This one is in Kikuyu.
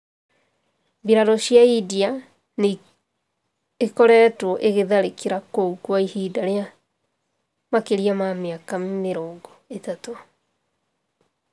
Mbirarū cia India nĩ ĩkoretwo ĩgĩtharĩkĩra kũu kwa ihinda rĩa makĩria ma mĩaka mĩrongo ĩtatũ.